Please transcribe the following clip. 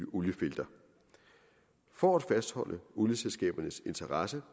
oliefelter for at fastholde olieselskabernes interesse